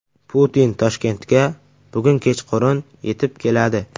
Putin Toshkentga bugun kechqurun yetib keladi.